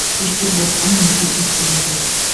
кешке ботқа немесе кеспе көже